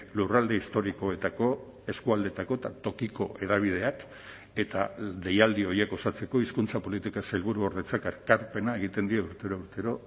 lurralde historikoetako eskualdeetako eta tokiko hedabideak eta deialdi horiek osatzeko hizkuntza politika sailburuordetzak ekarpena egiten dio urtero urtero